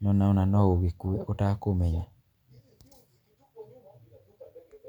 nĩwona ona no ũgĩkue ũtakũmenya.